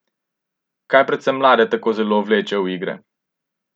Kaj predvsem mlade tako zelo vleče v igre?